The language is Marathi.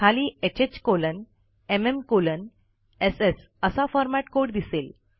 खाली ह्ह कोलन एमएम कोलन एसएस असा फॉरमॅट कोड दिसेल